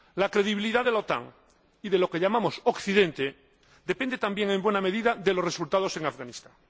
La credibilidad de la OTAN y de lo que llamamos Occidente depende también, en buena medida, de los resultados en Afganistán.